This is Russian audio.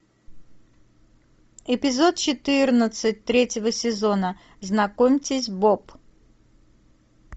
эпизод четырнадцать третьего сезона знакомьтесь боб